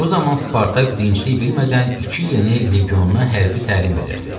Bu zaman Spartak dinclik bilmədən iki yeni legionuna hərbi təlim verirdi.